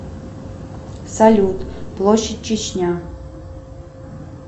салют площадь чечня